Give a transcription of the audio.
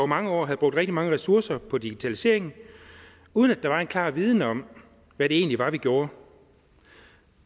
mange år havde brugt rigtig mange ressourcer på digitalisering uden at der var en klar viden om hvad det egentlig var vi gjorde